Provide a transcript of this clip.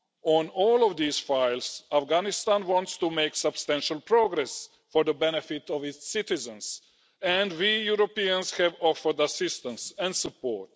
On all of these files, Afghanistan wants to make substantial progress for the benefit of its citizens and we Europeans have offered assistance and support.